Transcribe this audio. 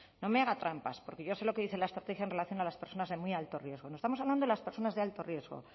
no me haga trampas porque yo sé lo que dice la estrategia en relación a las personas de muy alto riesgo no estamos hablando de las personas de alto riesgo